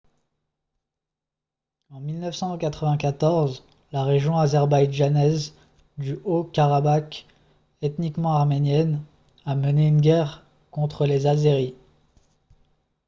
en 1994 la région azerbaïdjanaise du haut-karabakh ethniquement arménienne a mené une guerre contre les azéris